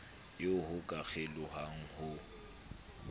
eo ho ka kgelohwang ho